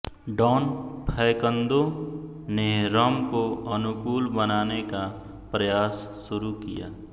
don Facundo ने rum को अनुकूल बनाने का प्रयास शुरू किया